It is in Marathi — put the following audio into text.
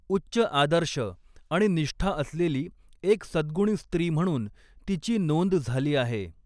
उच्च आदर्श आणि निष्ठा असलेली एक सद्गुणी स्त्री म्हणून तिची नोंद झाली आहे.